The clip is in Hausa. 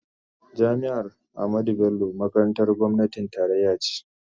Jami'ar Ahmadu Bello makarantar gwamnatin tarayya ce.